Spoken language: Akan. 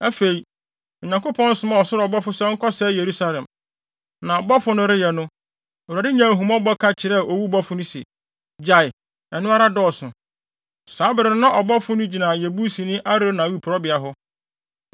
Afei, Onyankopɔn somaa ɔsoro ɔbɔfo sɛ ɔnkɔsɛe Yerusalem. Na bɔfo no reyɛ no, Awurade nyaa ahummɔbɔ ka kyerɛɛ owu ɔbɔfo no se, “Gyae! Ɛno ara dɔɔso!” Saa bere no na ɔbɔfo no gyina Yebusini Arauna awiporowbea hɔ.